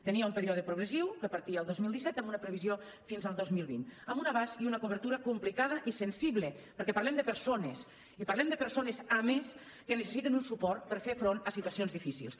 tenia un període progressiu que partia el dos mil disset amb una previsió fins al dos mil vint amb un abast i una cobertura complicada i sensible perquè parlem de persones i parlem de persones a més que necessiten un suport per fer front a situacions difícils